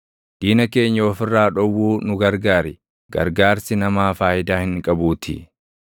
Diina keenya of irraa dhowwuu nu gargaar; gargaarsi namaa faayidaa hin qabuutii.